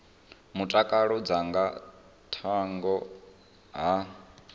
mutakalo dza nga thungo ha